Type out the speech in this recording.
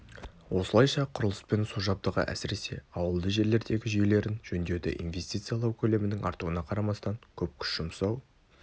осылайша құрылыс пен су жабдығы әсіресе ауылды жерлердегі жүйелерін жөндеуді инвестициялау көлемінің артуына қарамастан көп күш жұмсау